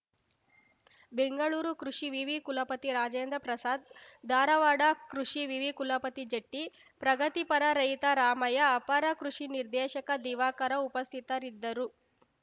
ಬೆಂಗಳೂರು ಕೃಷಿ ವಿವಿ ಕುಲಪತಿ ರಾಜೇಂದ್ರ ಪ್ರಸಾದ್ ಧಾರವಾಡ ಕೃಷಿ ವಿವಿ ಕುಲಪತಿ ಜಟ್ಟಿ ಪ್ರಗತಿಪರ ರೈತ ರಾಮಯ್ಯ ಅಪರ ಕೃಷಿ ನಿರ್ದೇಶಕ ದಿವಾಕರ ಉಪಸ್ಥಿತರಿದ್ದರು